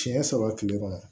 Siɲɛ saba tile kɔnɔ